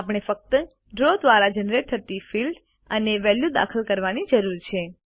આપણે ફક્ત ડ્રો દ્વારા જનરેટ થતી ફિલ્ડ અને વેલ્યુ દાખલ કરવાની જરૂર છે